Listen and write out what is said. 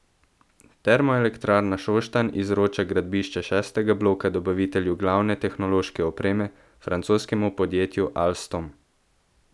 Termoelektrarna Šoštanj izroča gradbišče šestega bloka dobavitelju glavne tehnološke opreme, francoskemu podjetju Alstom.